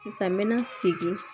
Sisan n mɛna segin